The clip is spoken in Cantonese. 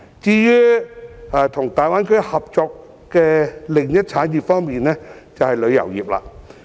至於與大灣區合作的另一產業，就是旅遊業。